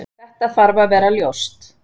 Þetta þarf að vera ljóst.